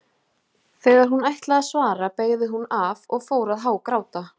Þegar hún ætlaði að svara beygði hún af og fór að hágráta.